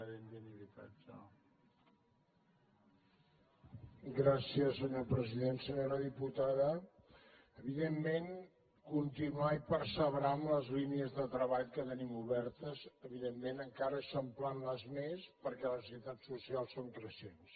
senyora diputada evidentment continuar i perseverar en les línies de treball que tenim obertes evidentment encara eixamplant les més perquè les necessitats socials són creixents